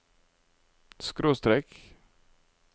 skråstrek